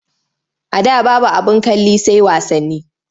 A da babu abin kalli sai wasanni.